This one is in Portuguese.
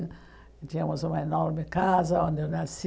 Tínhamos uma enorme casa onde eu nasci.